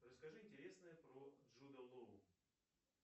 расскажи интересное про джуда лоу